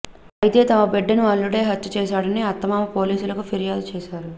అయితే తమ బిడ్డను అల్లుడే హత్య చేశాడని అత్తమామ పోలీసులకు ఫిర్యాదు చేశారు